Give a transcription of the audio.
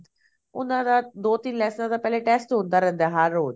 ਉਹਨਾਂ ਦਾ ਦੋ ਤਿੰਨ ਲੈਸਨਾ ਦਾ test ਹੁੰਦਾ ਰਹਿੰਦਾ ਪਹਿਲੇ ਹਰ ਰੋਜ਼